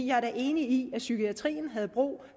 jeg er da enig i at psykiatrien havde brug